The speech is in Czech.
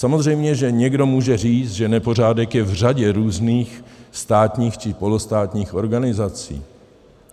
Samozřejmě že někdo může říct, že nepořádek je v řadě různých státních či polostátních organizací.